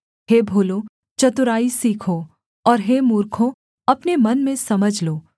हे भोलों चतुराई सीखो और हे मूर्खों अपने मन में समझ लो